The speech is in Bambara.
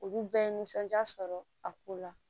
Olu bɛɛ ye nisɔndiya sɔrɔ a ko la